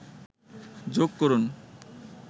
যোগ করুন